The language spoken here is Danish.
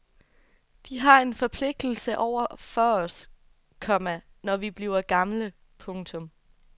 De har en forpligtelse over for os, komma når vi bliver gamle. punktum